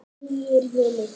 Nýir vindar?